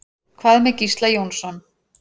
Hvað með Gísla Jónsson?